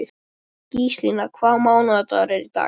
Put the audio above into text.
Gíslína, hvaða mánaðardagur er í dag?